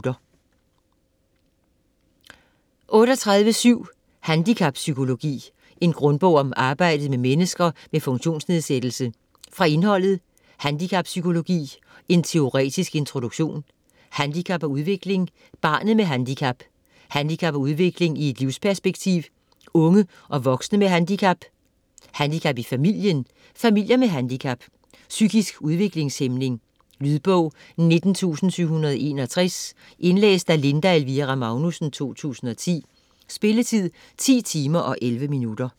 38.7 Handicappsykologi: en grundbog om arbejdet med mennesker med funktionsnedsættelse Fra indholdet: Handicappsykologi : en teoretisk introduktion; Handicap og udvikling : barnet med handicap; Handicap og udvikling i et livsperspektiv : unge og voksne med handicap; Handicap i familien - familier med handicap; Psykisk udviklingshæmning. Lydbog 19761 Indlæst af Linda Elvira Magnussen, 2010. Spilletid: 10 timer, 11 minutter.